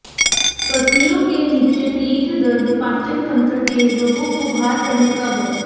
पसलियों के नीचे पीठ दर्द पाचन तंत्र के रोगों को बाहर करने का है